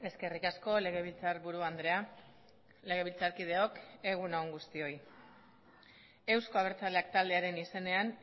eskerrik asko legebiltzarburu andrea legebiltzarkideok egun on guztioi euzko abertzaleak taldearen izenean